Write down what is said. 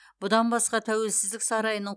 бұдан басқа тәуелсіздік сарайының